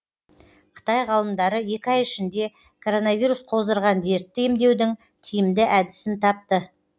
қытай ғалымдары екі ай ішінде коронавирус қоздырған дертті емдеудің тиімді әдісін тапты